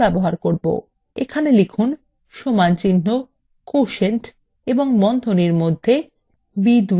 এবং লিখুন সমানচিহ্ন quotient এবং বন্ধনীর মধ্যে b2 comma b1